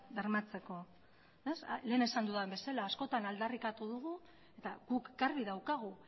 bermatzeko beraz lehen esan dudan bezala askotan aldarrikatu dugu eta guk garbi daukagu